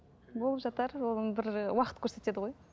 болып жатар оны бір і уақыт көрсетеді ғой